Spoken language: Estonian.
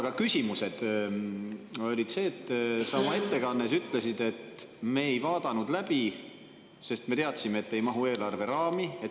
Aga küsimus on selle koha, et sa oma ettekandes ütlesid, et te ei vaadanud läbi, sest te teadsite, et need ei mahu eelarve raami.